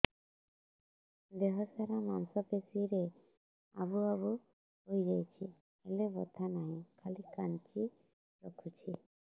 ଦେହ ସାରା ମାଂସ ପେଷି ରେ ଆବୁ ଆବୁ ହୋଇଯାଇଛି ହେଲେ ବଥା ନାହିଁ ଖାଲି କାଞ୍ଚି ରଖୁଛି